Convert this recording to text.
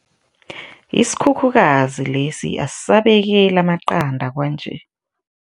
Isikhukhukazi lesi asisabekeli amaqanda kwanje.